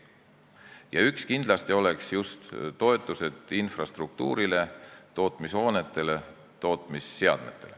Üks meede oleks kindlasti just toetused infrastruktuurile, tootmishoonetele, tootmisseadmetele.